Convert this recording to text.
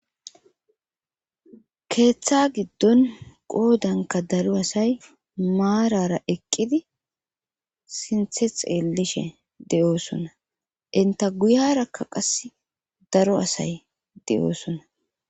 keeththa giddon qoodanka daro asay maarara eqqidi sinthe xeellishe de7oosona inta guyarakka qas daro asay de7oosona